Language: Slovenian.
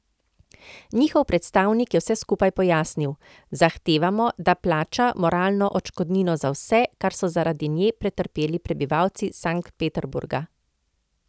Njihov predstavnik je vse skupaj pojasnil: 'Zahtevamo, da plača moralno odškodnino za vse, kar so zaradi nje pretrpeli prebivalci Sankt Peterburga.